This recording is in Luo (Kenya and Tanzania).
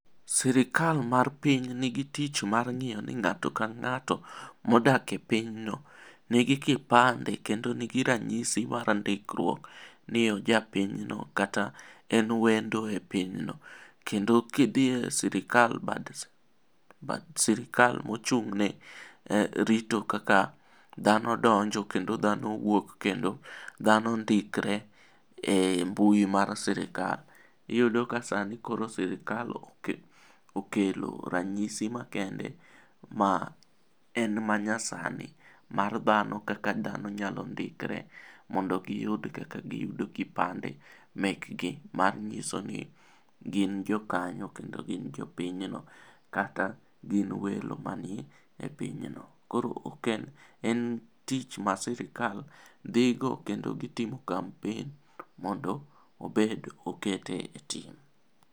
Sirkal mar pinyni gi tich mar ng'iyo ni ng'ato kang'ato modak e pinyno nigi kipande kendo nigi ranyisi ,mar andika ni oja piny no kata en wendo e piny no. Kendo kidhi e sirkal mochug' ne rito kaka dhano donjo kendo dhano wuok kendo dhano ndikre e mbui mar sirkal. Iyudo ka sani koro sirkal okelo ranyisi makende ma en ma nyasani mar dhano kaka dhano nyalo ndikre mondo giyud kaka gi yudo kipande mekgi manyiso ni gin jo kanyo kendo gin jo piny no kata gin welo manie pinyno. Koro en tich ma sirkal dhigo kendo gitimo kampen mondo obed moket e tim.